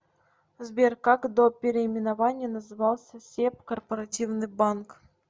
сбер как до переименования назывался себ корпоративный банк